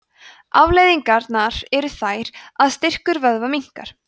afleiðingarnar eru þær að styrkur vöðva minnkar